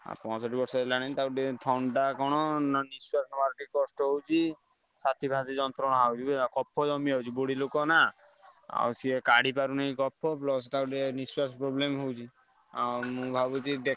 ପଁଅଷଠି ବର୍ଷ ହେଲାଣି ତାକୁ ଟିକେ ଥଣ୍ଡା କଣ ନା ନିଶ୍ଵାସଃ ନବାରେ କଷ୍ଟ ହଉଛି ଛାତି ଫାତି ଯନ୍ତ୍ରଣା ହଉଛି ବୁଝିଲ, କଫ ଜମିଯାଉଛି ବୁଢୀ ଲୋକ ନା। ଆଉ ସିଏ କାଢିପାରୁନି କଫ plus ତାକୁ ଟିକେ ନିଶ୍ଵାସଃ problem ହଉଛି। ଆଉ ମୁଁ ଭାବୁଛି।